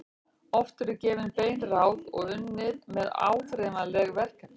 Oft eru gefin bein ráð og unnið með áþreifanleg verkefni.